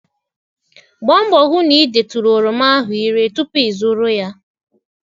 Gbaa mbọ hụ na ị detụrụ oroma ahụ ire tupu ịzụrụ ya.